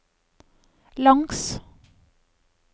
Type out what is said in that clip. langs